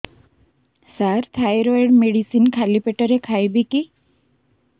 ସାର thyroid medicine ଖାଲି ପେଟରେ ଖାଇବି କି